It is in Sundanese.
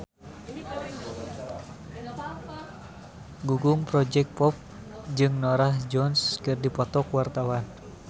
Gugum Project Pop jeung Norah Jones keur dipoto ku wartawan